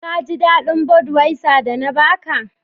Ka jidadin " budwiser" da na ba ka?